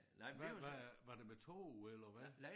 Hvad hvad øh var det med tog eller hvad?